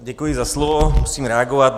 Děkuji za slovo, musím reagovat.